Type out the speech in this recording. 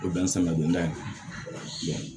O bɛ n sama don n da